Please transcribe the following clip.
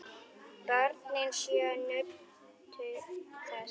Börnin sjö nutu þess.